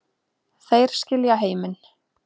Þeir skilja heiminn